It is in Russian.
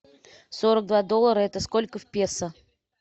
сорок два доллара это сколько в песо